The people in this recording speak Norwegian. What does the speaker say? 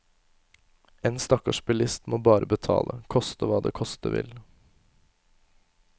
En stakkars bilist må bare betale, koste hva det koste vil.